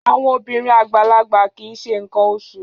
Àwọn obìnrin àgbàlagbà kì í ṣe nǹkan oṣù